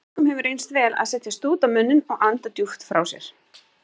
Mörgum hefur reynst vel að setja stút á munninn og anda djúpt frá sér.